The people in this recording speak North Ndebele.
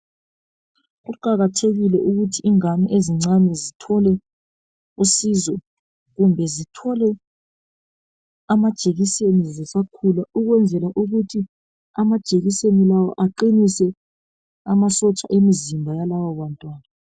Kuqakathekile ukuthi abantwana abancane bathole uncedo kumbe bathole amajekiseni besakhula ukwenzela ukuthi amajekiseni lawa aqinise amasotsha emzimba yalaba bantwana.